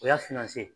O y'a finman se ye